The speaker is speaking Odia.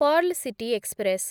pearl city express